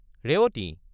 Revati!